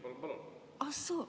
Palun-palun!